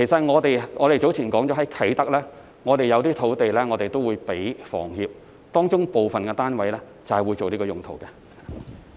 我們早前說過，啟德有一些土地會撥給房協建屋，當中部分單位便會作此用途。